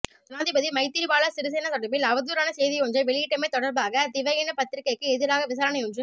ஜனாதிபதி மைத்திரிபால சிறிசேன தொடர்பில் அவதூறான செய்தியொன்றை வெளியிட்டமை தொடர்பாக திவயின பத்திரிகைக்கு எதிராக விசாரணையொன்று